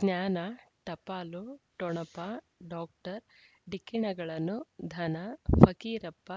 ಜ್ಞಾನ ಟಪಾಲು ಠೊಣಪ ಡಾಕ್ಟರ್ ಢಿಕ್ಕಿ ಣಗಳನು ಧನ ಫಕೀರಪ್ಪ